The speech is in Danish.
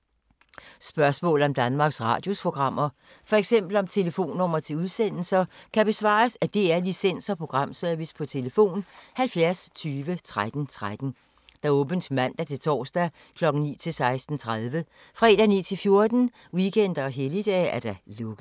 Spørgsmål om Danmarks Radios programmer, f.eks. om telefonnumre til udsendelser, kan besvares af DR Licens- og Programservice: tlf. 70 20 13 13, åbent mandag-torsdag 9.00-16.30, fredag 9.00-14.00, weekender og helligdage: lukket.